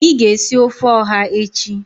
I ga esi ofe oha echi.